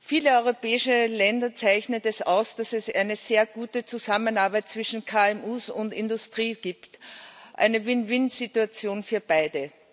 Viele europäische Länder zeichnet es aus, dass es eine sehr gute Zusammenarbeit zwischen KMU und Industrie gibt eine Win win Situation für beide.